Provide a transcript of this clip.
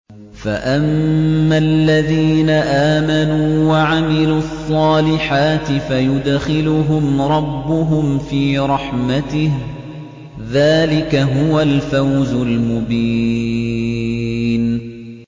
فَأَمَّا الَّذِينَ آمَنُوا وَعَمِلُوا الصَّالِحَاتِ فَيُدْخِلُهُمْ رَبُّهُمْ فِي رَحْمَتِهِ ۚ ذَٰلِكَ هُوَ الْفَوْزُ الْمُبِينُ